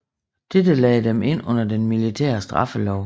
Dette lagde dem ind under den militære straffelov